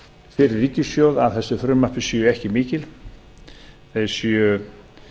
fyrir ríkissjóð af þessu frumvarpi fyrir ríkissjóð séu ekki mikil þau séu